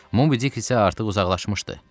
Mobidick isə artıq uzaqlaşmışdı.